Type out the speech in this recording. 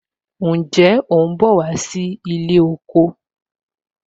Ǹjẹ́ o ń bọ̀ wá sí ilé oko